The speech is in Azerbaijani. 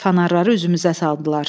Fanarları üzümüzə saldılar.